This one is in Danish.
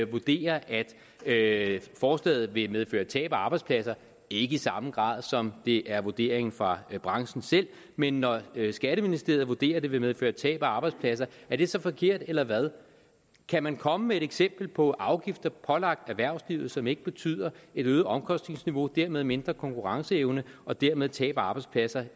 vurderer at forslaget vil medføre tab af arbejdspladser ikke i samme grad som det er vurderingen fra branchen selv men når skatteministeriet vurderer at det vil medføre tab af arbejdspladser er det så forkert eller hvad kan man komme med et eksempel på afgifter pålagt erhvervslivet som ikke betyder et øget omkostningsniveau og dermed mindre konkurrenceevne og dermed tab af arbejdspladser